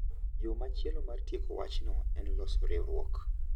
Yo machielo mar tieko wachno en loso riwruok,